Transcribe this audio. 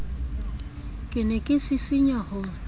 ke ne ke sisinya ho